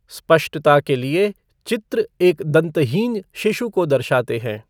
स्पष्टता के लिए, चित्र एक दंतहीन शिशु को दर्शाते हैं।